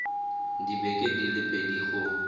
dibeke di le pedi go